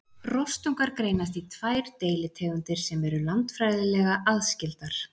rostungar greinast í tvær deilitegundir sem eru landfræðilega aðskildar